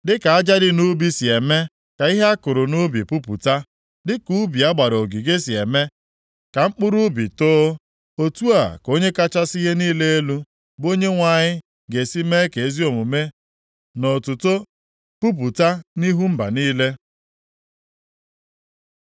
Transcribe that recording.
Dịka aja dị nʼubi si eme ka ihe a kụrụ nʼubi pupụta, dịka ubi a gbara ogige si eme ka mkpụrụ ubi too, otu a ka Onye kachasị ihe niile elu, bụ Onyenwe anyị ga-esi mee ka ezi omume na otuto pupụta nʼihu mba niile.